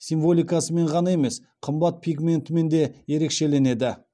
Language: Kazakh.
символикасымен оған емес қымбат пигментімен де ерекшеленді